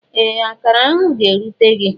Ee! Akará ahụ ga-erute gị.